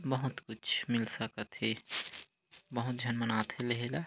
बहुत कुछ मिल सकत हे बहुत झन मन आथे लेहे ला--